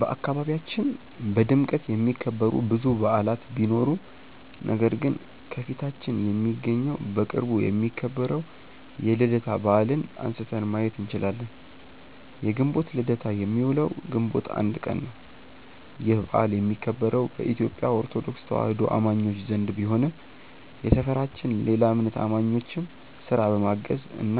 በአካባቢያችን በድምቀት የሚከበሩ ብዙ በዓላት ቢኖሩም ነገር ግን ከፊታችን የሚገኘው በቅርቡ የሚከበረው የልደታ በዓልን አንስተን ማየት እንችላለን። የግንቦት ልደታ የሚውለው ግንቦት 1 ቀን ነው። ይህ በዓል የሚከበረው በኢትዮጲያ ኦርቶዶክስ ተዋህዶ አማኞች ዘንድ ቢሆንም የሰፈራችን ሌላ እምነት አማኞችም ስራ በማገዝ እና